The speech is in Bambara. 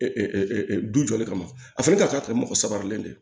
du jɔlen kama a fana ka taa mɔgɔ sabalen don